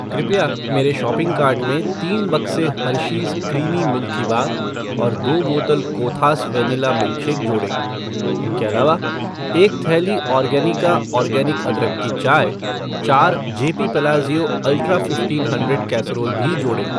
कृपया मेरे shopping cart में तीन बक्से हर्शीज़ क्रीमी मिल्की बार और दो बोतल कोथास वेनिला मिल्कशेक जोड़ें। इनके अलावा, एक थैली ऑर्गनिका ऑर्गेनिक अदरक की चाय , चार JP Palazzio ultra fifteen hundred casserole भी जोड़ें।